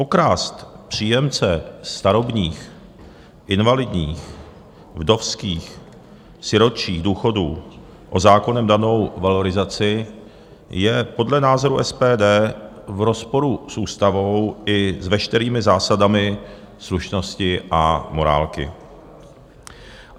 Okrást příjemce starobních, invalidních, vdovských, sirotčích důchodů o zákonem danou valorizaci je podle názoru SPD v rozporu s ústavou i s veškerými zásadami slušnosti a morálky.